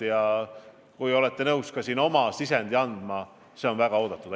Ja kui te olete nõus ka oma panuse andma, siis see on väga oodatud.